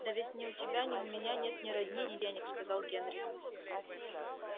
да ведь ни у тебя ни у меня нет ни родни ни денег сказал генри